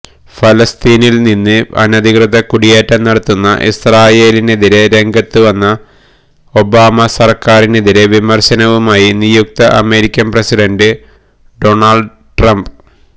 ഫലസ്തീനില് അനധികൃത കുടിയേറ്റം നടത്തുന്ന ഇസ്രയേലിനെതിരെ രംഗത്തുവന്ന ഒബാമ സര്ക്കാറിനെതിരെ വിമര്ശവുമായി നിയുക്ത അമേരിക്കന് പ്രസിഡന്റ് ഡോണള്ഡ് ട്രംപ്